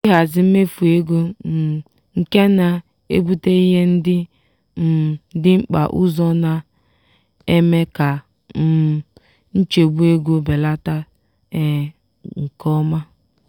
ịhazi mmefu ego um nke na-ebute ihe ndị um dị mkpa ụzọ na-eme ka um nchegbu ego belata nke ọma.